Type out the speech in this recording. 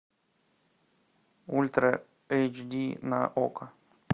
ультра эйч ди на окко